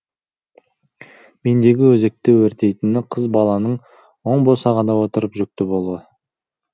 мендегі өзекті өртейтіні қыз баланың оң босағада отырып жүкті болуы